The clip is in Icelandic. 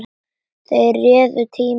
Þeir réðu tíma hans.